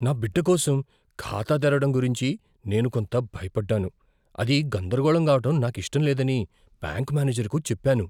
నా బిడ్డకోసం ఖాతా తెరవడం గురించి నేను కొంత భయపడ్డాను, అది గందరగోళం కావడం నాకిష్టం లేదని బ్యాంక్ మ్యానేజర్కు చెప్పాను.